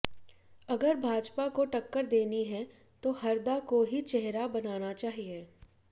अगर भाजपा को टक्कर देनी है तो हरदा को ही चेहरा बनाना चाहिए